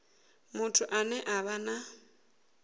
muthu ane a vha na